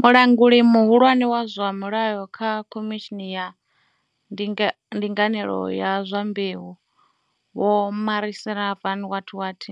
Mulanguli muhulwane wa zwa mulayo kha Khomishini ya Ndinganelo ya zwa Mbeu, Vho Marissa van what what